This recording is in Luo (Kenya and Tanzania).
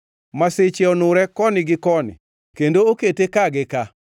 Masiche onure koni gi koni kendo okete ka gi ka.